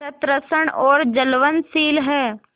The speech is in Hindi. सतृष्ण और ज्वलनशील है